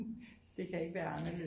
Det kan ikke være anderledes